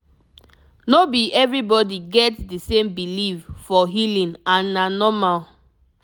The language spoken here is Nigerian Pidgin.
no be everybody get the same belief for healing and na normal